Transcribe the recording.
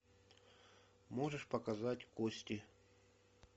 можешь показать кости